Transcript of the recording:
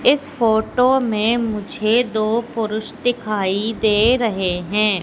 इस फोटो में मुझे दो पुरुष दिखाई दे रहे हैं।